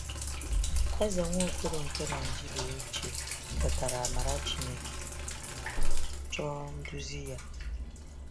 Eze Nwaokolo nke Naijiria ochie kwetara amara Chineke ma chọọ nduzi Ya.